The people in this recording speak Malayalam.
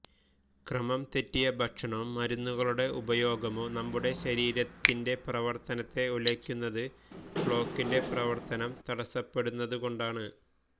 ക്രമം തെറ്റിയ ഭക്ഷണമോ മരുന്നുകളുടെ ഉപയോഗമോ നമ്മുടെ ശരീരത്തിന്റെ പ്രവർത്തനത്തെ ഉലയ്ക്കുന്നത് ക്ലോക്കിന്റെ പ്രവർത്തനം തടസ്സപ്പെടുന്നതുകൊണ്ടാണ്